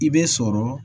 I bɛ sɔrɔ